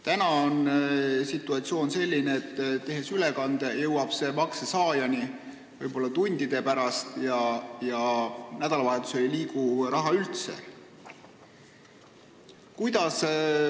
Nüüd on situatsioon selline, et ülekanne jõuab makse saajani võib-olla tundide pärast ja nädalavahetusel ei liigu raha üldse.